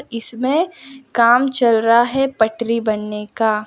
इसमें काम चल रहा है पटरी बनने का --